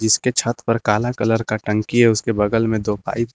उसके छत पर काला कलर का टंकी है उसके बगल में दो पाइप भी--